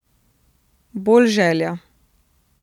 Bolj želja.